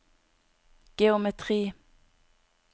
geometri